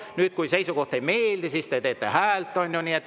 Nüüd, kui seisukoht ei meeldi, te teete häält, on ju.